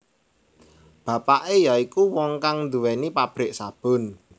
Bapake ya iku wong kang duwéni pabrik sabun